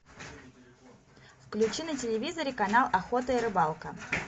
включи на телевизоре канал охота и рыбалка